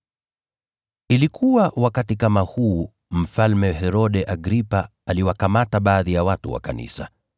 Wakati huo huo Mfalme Herode Agripa aliwakamata baadhi ya watu wa kanisa.